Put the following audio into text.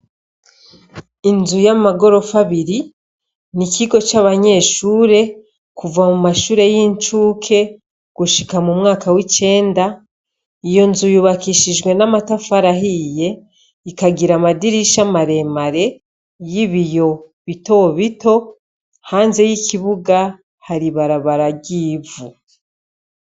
Inzu y'amagorofa abiri, ni ikigo c'abanyeshure kuva mu mashure y'incuke gushika mu mwaka w'icenda, iyo nzu yubakishijwe n'amatafari ahiye ikagira amadirisha maremare y'ibiti bito bito, hanze y'ikibuga hari ibarabara ry'ivu.